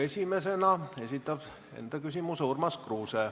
Esimesena esitab küsimuse Urmas Kruuse.